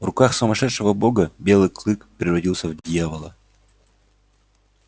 в руках сумасшедшего бога белый клык превратился в дьявола